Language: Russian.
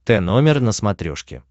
тномер на смотрешке